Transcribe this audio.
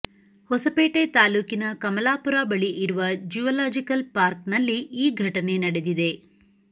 ಹೊಸಪೇಟೆ ತಾಲೂಕಿನ ಕಮಲಾಪುರ ಬಳಿ ಇರುವ ಜ್ಯೂವಲಾಜಿಕಲ್ ಪಾರ್ಕ್ ನಲ್ಲಿ ಈ ಘಟನೆ ನಡೆದಿದೆ